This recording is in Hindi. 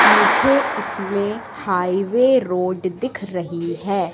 मुझे इसमें हाईवे रोड दिख रही है।